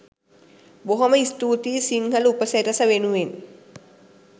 බොහොම ස්තුතියි සිංහල උපසිරැස වෙනුවෙන්